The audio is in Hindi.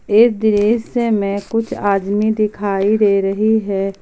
इस दृश्य में कुछ आदमी दिखाई दे रही है।